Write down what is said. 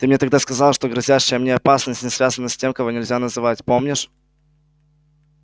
ты мне тогда сказал что грозящая мне опасность не связана с тем-кого-нельзя-называть помнишь